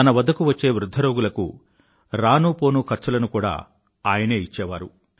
తన వద్దకు వచ్చే వృధ్ధ రోగులకు రానూ పోనూ ఖర్చులను కూడా ఆయనే ఇచ్చేవారు